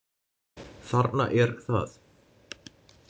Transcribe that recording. Þarna er það.